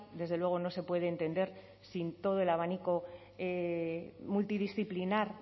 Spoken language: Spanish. desde luego no se puede entender sin todo el abanico multidisciplinar